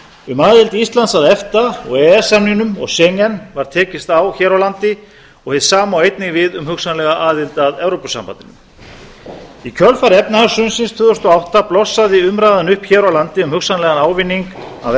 um aðild íslands að efta og e e s samningnum og schengen var tekist á hér á landi og hið sama á einnig við um hugsanlega aðild að evrópusambandinu í kjölfar efnahagshrunsins tvö þúsund og átta blossaði umræðan upp hér á landi um hugsanlegan ávinning af